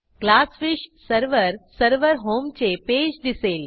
GlassFish server server होमचे पेज दिसेल